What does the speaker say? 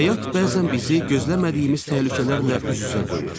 Həyat bəzən bizi gözləmədiyimiz təhlükələrlə üz-üzə qoyur.